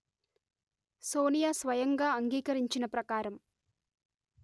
సోనియా స్వయంగా అంగీకరించిన ప్రకారం